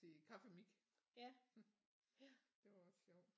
til kaffemik det var også sjovt